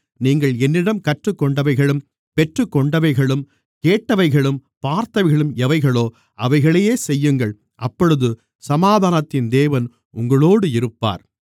நீங்கள் என்னிடம் கற்றுக்கொண்டவைகளும் பெற்றுக்கொண்டவைகளும் கேட்டவைகளும் பார்த்தவைகளும் எவைகளோ அவைகளையே செய்யுங்கள் அப்பொழுது சமாதானத்தின் தேவன் உங்களோடு இருப்பார்